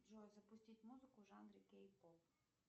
джой запустить музыку в жанре кей поп